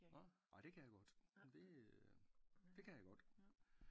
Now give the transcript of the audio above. Nåh ej det kan jeg godt det øh det kan jeg godt